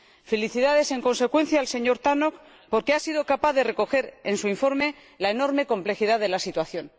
Felicidades, en consecuencia, al señor Tannock, porque ha sido capaz de recoger en su informe la enorme complejidad de la situación.